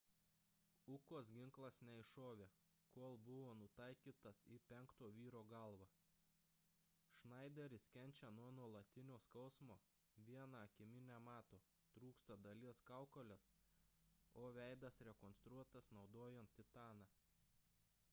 ukos ginklas neiššovė kol buvo nutaikytas į penkto vyro galvą šnaideris kenčia nuo nuolatinio skausmo viena akimi nemato trūksta dalies kaukolės o veidas rekonstruotas naudojant titaną